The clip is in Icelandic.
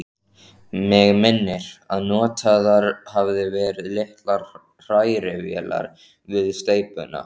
Mig minnir, að notaðar hafi verið litlar hrærivélar við steypuna.